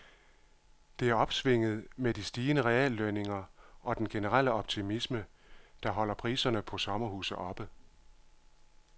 Det er opsvinget med de stigende reallønninger og den generelle optimisme, der holder priserne på sommerhuse oppe.